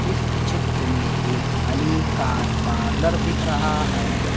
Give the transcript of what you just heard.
इस चित्र में एक अलीकार कार पार्लर दिख रहा है।